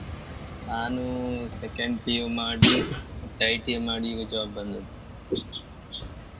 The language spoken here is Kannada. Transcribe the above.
ನಾನು second PU ಮಾಡಿ ಮತ್ತೆ ITI ಮಾಡಿ ಈಗ job ಬಂದದ್.